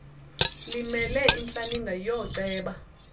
limele intlaninge yooceba